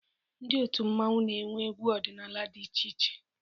Ndị otu mmọnwụ na-enwe egwu ọdịnala dị iche iche.